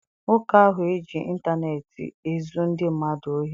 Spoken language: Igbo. Nwoke ahụ eji intaneeti ezu ndị mmadụ ohi?